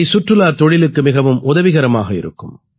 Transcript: இவை சுற்றுலாத் தொழிலுக்கு மிகவும் உதவிகரமாக இருக்கும்